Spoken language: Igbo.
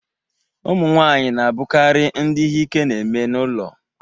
Ụmụ nwanyị na-abụkarị ndị ihe ike na-eme n'ụlọ